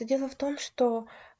но дело в том что